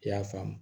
I y'a faamu